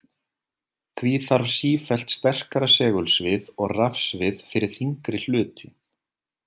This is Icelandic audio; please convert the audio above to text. Því þarf sífellt sterkara segulsvið og rafsvið fyrir þyngri hluti.